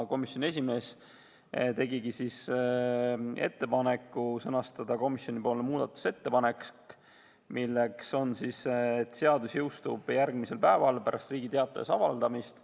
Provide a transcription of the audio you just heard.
Komisjoni esimees tegigi ettepaneku sõnastada komisjoni muudatusettepanek, et seadus jõustuks järgmisel päeval pärast Riigi Teatajas avaldamist.